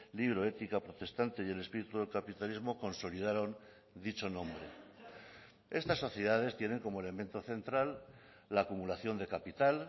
libro ética protestante y el espíritu del capitalismo consolidaron dicho nombre estas sociedades tienen como elemento central la acumulación de capital